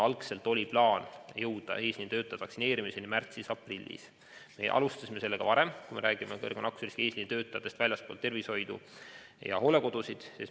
Algselt oli plaan jõuda eesliinitöötajate vaktsineerimiseni märtsis-aprillis, aga me alustasime sellega varem – kui me räägime suurema nakkusriskiga eesliinitöötajatest väljaspool tervishoidu ja hoolekodusid.